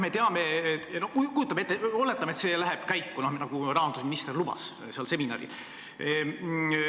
Aga oletame, et see läheb käiku, nagu rahandusminister seal seminaril lubas.